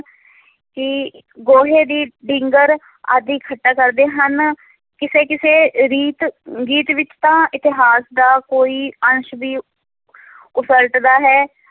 ਗੋਹੇ ਦੀ ਢਿੰਗਰ ਆਦਿ ਇਕੱਠਾ ਕਰਦੇ ਹਨ, ਕਿਸੇ ਕਿਸੇ ਰੀਤ ਗੀਤ ਵਿੱਚ ਤਾਂ ਇਤਿਹਾਸ ਦਾ ਕੋਈ ਅੰਸ਼ ਵੀ ਉਸਲਟਦਾ ਹੈ,